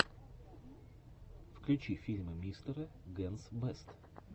включи фильмы мистера генс бэст